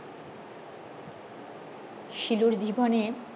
শিলুর জীবনের